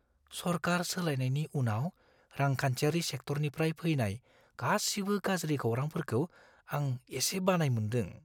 सरकार सोलायनायनि उनाव रांखान्थियारि सेक्टरनिफ्राय फैनाय गासिबो गाज्रि खौरांफोरखौ आं एसे बानाय मोनदों।